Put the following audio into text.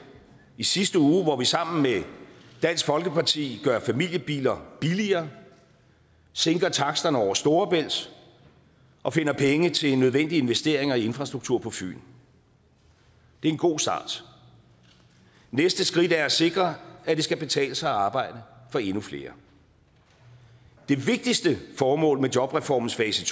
i sidste uge hvor vi sammen med dansk folkeparti gør familiebiler billigere sænker taksterne over storebælt og finder penge til nødvendige investeringer i infrastruktur på fyn det er en god start næste skridt er at sikre at det skal betale sig at arbejde for endnu flere det vigtigste formål med jobreformens fase